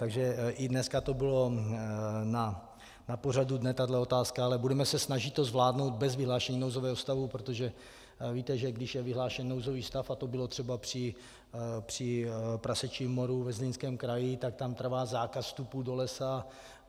Takže i dneska to bylo na pořadu dne, tahle otázka, ale budeme se snažit to zvládnout bez vyhlášení nouzového stavu, protože víte, že když je vyhlášen nouzový stav, a to bylo třeba při prasečím moru ve Zlínském kraji, tak tam trvá zákaz vstupu do lesa.